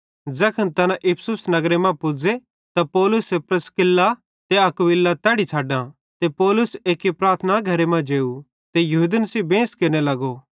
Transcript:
ज़ैखन तैना इफिसुस नगरे मां पुज़े त पौलुसे प्रिस्किल्ला ते अक्विला तैड़ी छ़डां ते पौलुस एक्की प्रार्थना घरे मां जेव ते यहूदन सेइं बेंस केरने लगो